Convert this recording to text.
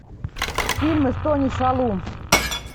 фильмы с тони шалум